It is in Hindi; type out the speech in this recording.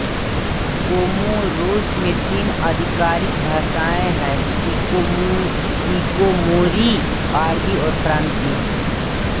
कोमोरोस में तीन आधिकारिक भाषाएँ है शिकोमोरी अरबी और फ़्राँसीसी